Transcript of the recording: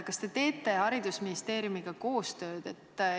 Kas te teete Haridus- ja Teadusministeeriumiga koostööd?